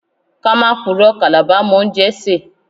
Let's not lie, Calabar people can cook.